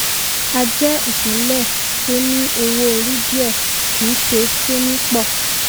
a jẹ́ ìpínlẹ̀ tó ní owó orí díẹ kì í ṣe tó ní pọ.